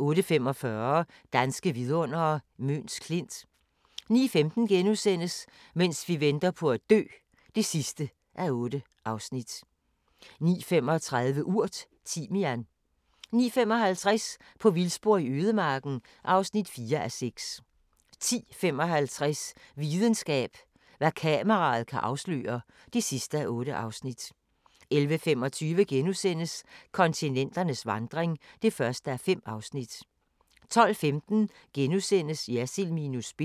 08:45: Danske vidundere: Møns Klint 09:15: Mens vi venter på at dø (8:8)* 09:35: Urt: Timian 09:55: På vildspor i ødemarken (4:6) 10:55: Videnskab: Hvad kameraet kan afsløre (8:8) 11:25: Kontinenternes vandring (1:5)* 12:15: Jersild minus spin *